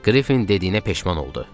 Qrifin dediyinə peşman oldu.